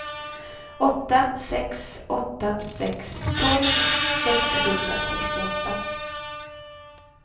åtta sex åtta sex tolv sexhundrasextioåtta